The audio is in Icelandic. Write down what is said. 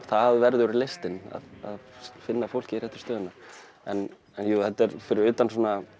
það verður listin að finna fólkið í réttu stöðurnar en jú fyrir utan